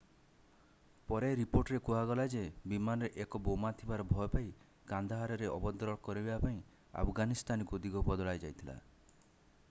ପରେ ରିପୋର୍ଟରେ କୁହାଗଲା ଯେ ବିମାନରେ ଏକ ବୋମା ଥିବାର ଭୟ ପାଇ କାନ୍ଦାହାରରେ ଅବତରଣ କରିବା ପାଇଁ ଆଫଗାନିସ୍ତାନକୁ ଦିଗ ବଦଳାଯାଇଥିଲା